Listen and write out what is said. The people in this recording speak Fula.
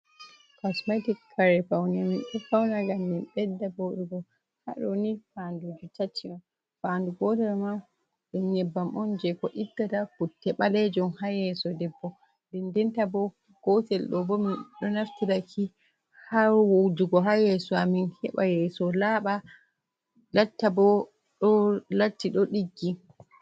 Kosmetic kare fawne, min ɗo fawna ngam min ɓedda woɗugo. Haa ɗoni fandu may tati on, fandu gotel man ɗum nyebbam on jey ko ittata putte ɓaleejum haa yeeso debbo. Ndendenta bo, gotel ɗo bo min ɗo naftiraki haa wujugo haa yeeso a min heɓa yeeso laaɓa, latta bo ɗo latti ɗo ɗiggi.